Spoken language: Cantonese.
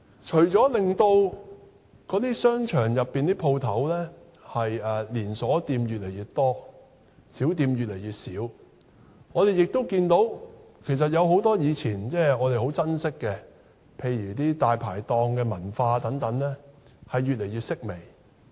除了令商場內的連鎖店越來越多，小店越來越少外，我們也看到很多我們以往很珍惜的事物，例如大排檔文化等，越來越式微。